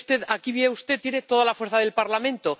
Aquí, mire usted, tiene toda la fuerza del Parlamento.